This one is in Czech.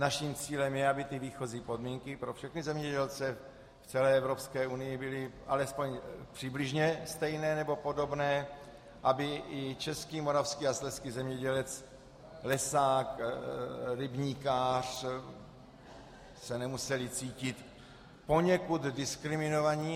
Naším cílem je, aby ty výchozí podmínky pro všechny zemědělce v celé Evropské unii byly alespoň přibližně stejné nebo podobné, aby i český, moravský a slezský zemědělec, lesák, rybníkář se nemusel cítit poněkud diskriminován.